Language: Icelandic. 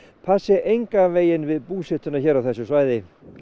passi engan veginn við búsetuna hér á þessu svæði